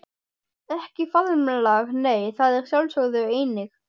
Ekki faðmlag nei, það er sjálfsögð eining.